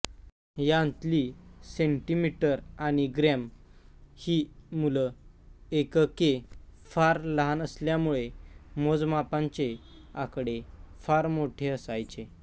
यांतली centimetre आणि gram ही मूल एकके फार लहान असल्यामुळे मोजमापांचे आकडे फार मोठे असायचे